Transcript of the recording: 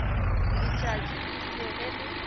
letšatši le ile ge le